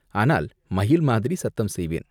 ஆனால் மயில் மாதிரி சத்தம் செய்வேன்.